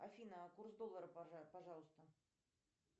афина курс доллара пожалуйста